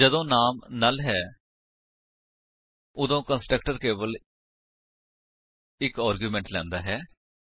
ਜਦੋਂ ਨਾਮ ਨੁੱਲ ਹੈ ਉਦੋਂ ਕੰਸਟਰਕਟਰ ਕੇਵਲ ਇੱਕ ਆਰਗਿਉਮੇਂਟ ਲੈਂਦਾ ਹੈ